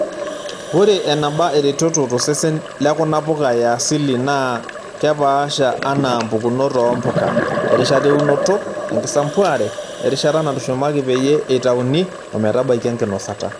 Ore eneba eretoto tosesen lekuna puka yaasili naa keoaasha anaa mpukunot oo mpuka, erishata eunoto, enkisampuare, erishata natushumaki pee eitayuni ometabaiki enkinosata.